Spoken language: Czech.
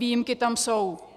Výjimky tam jsou.